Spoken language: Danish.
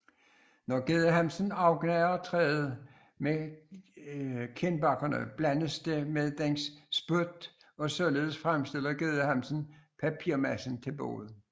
Når gedehamsen afgnaver træet med kindbakkerne blandes det med dens spyt og således fremstiller gedehamsen papirmassen til boet